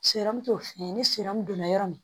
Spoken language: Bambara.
t'o fɛn ni donna yɔrɔ min